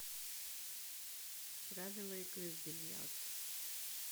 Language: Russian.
правила игры в бильярд